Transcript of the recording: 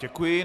Děkuji.